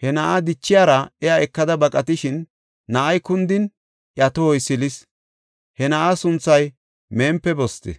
He na7aa dichiyara iya ekada baqatishin na7ay kundin iya tohoy silis; he na7aa sunthay Mempiboste.